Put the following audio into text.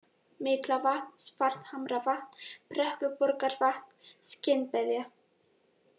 Miklavatn, Svarthamravatn, Brekkuborgarvatn, Skinnbeðja